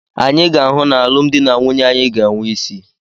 Anyị ga-ahụ na alụmdi na nwunye anyị ga-enwe isí.